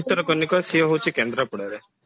ଭିତରକନିକା ସେ ହଉଛି କେନ୍ଦ୍ରାପଡାରେ